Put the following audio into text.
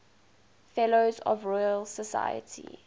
fellows of the royal society